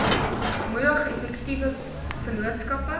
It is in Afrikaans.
moedig effektiewe vennootskappe